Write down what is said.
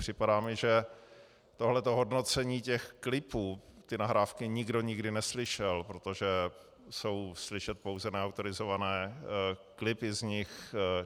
Připadá mi, že tohleto hodnocení těch klipů, ty nahrávky nikdo nikdy neslyšel, protože jsou slyšet pouze neautorizované klipy z nich.